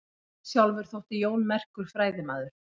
Sjálfur þótti Jón merkur fræðimaður.